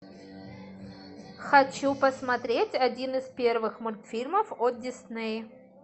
хочу посмотреть один из первых мультфильмов от дисней